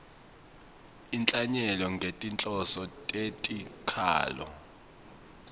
inhlanyelo ngetinhloso tetikhalo